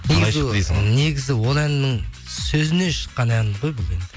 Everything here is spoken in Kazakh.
негізі ол әннің сөзіне шыққан ән ғой бұл